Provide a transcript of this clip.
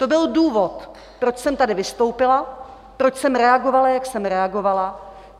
To byl důvod, proč jsem tady vystoupila, proč jsem reagovala, jak jsem reagovala.